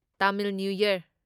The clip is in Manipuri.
Tamil new year